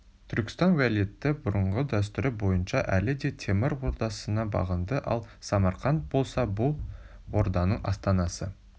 түркістан уәлиеті бұрынғы дәстүрі бойынша әлі де темір ордасына бағынды ал самарқант болса бұл орданың астанасы